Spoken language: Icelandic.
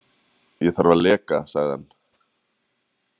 Ég þarf að leka, sagði hann.